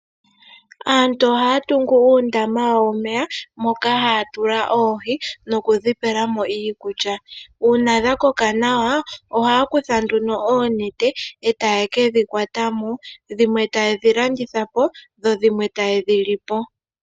Aantu ohaya tungu uundama wawo womeya moka haya tula oohi nokudhi pelamo iikulya. Uuna dha koka nawa ohaya kutha nduno oonete e taye kedhi kwatamo, dhimwe tayedhi landitha po dho dhimwe tayedhi lipo.